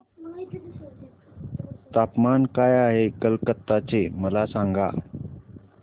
तापमान काय आहे कलकत्ता चे मला सांगा